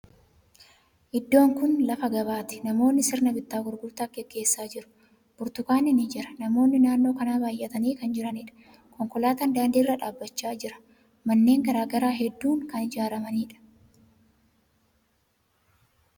Iddoon kuni lafa gabaati. Namootni sirna bittaa fi gurgurtaa gaggeessaa jiru. Burtukaanni ni jira. Namootni naannoo kana baay'atanii kan jiraniidha. Konkolaatan daandii irra dhaabbachaa jira. Manneen garagaraa hedduun kan jiraniidha.